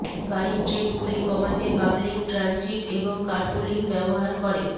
গাড়ির ট্রিপগুলি কমাতে পাবলিক ট্রানজিট এবং কার্পুলিং ব্যবহার করে